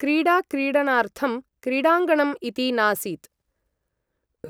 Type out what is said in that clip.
क्रीडा क्रीडणार्थं क्रीडाङ्गणम् इति नासीत् ।